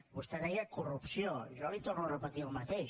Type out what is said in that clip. vostè deia corrupció jo li torno a repetir el mateix